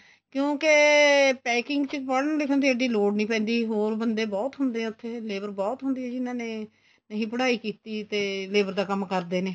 ਕਿਉਂਕਿ packing ਚ ਪੜ੍ਹਨ ਲਿਖਣ ਦੀ ਐਡੀ ਲੋੜ ਨੀਂ ਪੈਂਦੀ ਹੋਰ ਬੰਦੇ ਬਹੁਤ ਹੁੰਦੇ ਏ ਉੱਥੇ labor ਬਹੁਤ ਹੁੰਦੀ ਜਿੰਨਾ ਨੇ ਨਹੀਂ ਪੜ੍ਹਾਈ ਕੀਤੀ ਤੇ labor ਦਾ ਕੰਮ ਕਰਦੇ ਨੇ